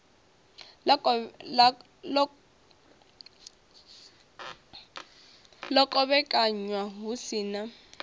ḽa kovhekanywa hu si na